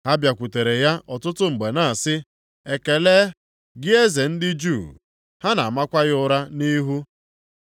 Ha bịakwutere ya ọtụtụ mgbe na-asị, “Ekele, gị Eze ndị Juu!” Ha na-amakwa ya ụra nʼihu.